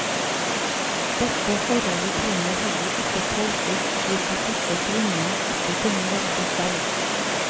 Dette forholdet trenger heller ikke tolkes slik at disse kvinnene ikke kunne velge selv.